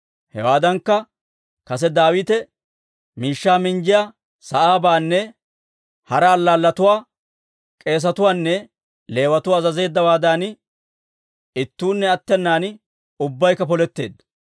Hewaadankka, kase Daawite miishshaa minjjiyaa sa'aabaanne hara allaalletuwaa k'eesetuwaanne Leewatuwaa azazeeddawaadan, ittuunne attenan ubbaykka poletteedda.